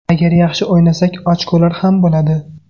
Agar yaxshi o‘ynasak ochkolar ham bo‘ladi.